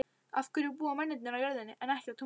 Af hverju búa mennirnir á jörðinni en ekki á tunglinu?